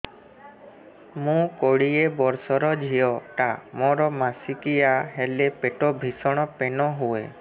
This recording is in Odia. ମୁ କୋଡ଼ିଏ ବର୍ଷର ଝିଅ ଟା ମୋର ମାସିକିଆ ହେଲେ ପେଟ ଭୀଷଣ ପେନ ହୁଏ